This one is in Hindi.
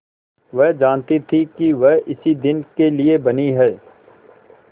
वह जानती थी कि वह इसी दिन के लिए बनी है